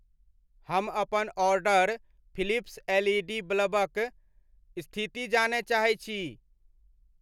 हम अपन order Philips L E D बल्बक स्थिति जानय चाहैत छी।